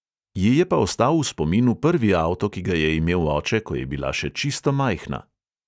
Ji je pa ostal v spominu prvi avto, ki ga je imel oče, ko je bila še čisto majhna.